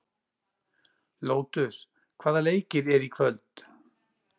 Lótus, hvaða leikir eru í kvöld?